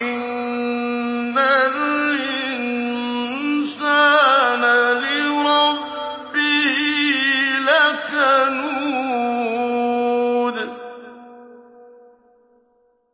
إِنَّ الْإِنسَانَ لِرَبِّهِ لَكَنُودٌ